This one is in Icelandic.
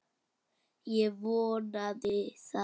Ég vonaði það.